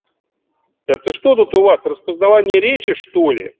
это что тут у вас распознавание речи что-ли